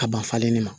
Ka ban falen ni ma